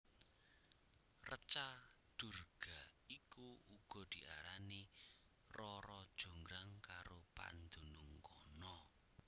Reca Durga iku uga diarani Rara Jonggrang karo pandunung kana